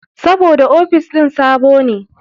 Sabida ofis ɗin sabo ne.